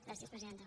gràcies presidenta